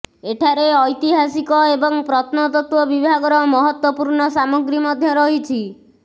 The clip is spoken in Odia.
ଏଠାରେ ଐତିହାସିକ ଏବଂ ପ୍ରତ୍ନତତ୍ତ୍ୱ ବିଭାଗର ମହତ୍ତ୍ୱପୂର୍ଣ୍ଣ ସାମଗ୍ରୀ ମଧ୍ୟ ରହିଛି